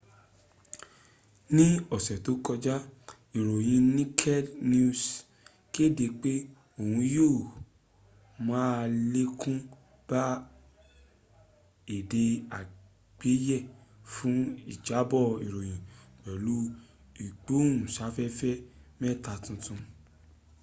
ní ọ̀sẹ̀ tó kọjá ìròyìn naked news kéde pé òun yó málèkún bá èdè àgbéyé fún ìjábọ̀ ìròyìn pẹ̀lú ìgbóhùnsáfẹ́fẹ́ mẹ́ta tuntun